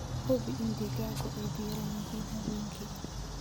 Hubi in digaaggu ay diiran yihiin habeenkii.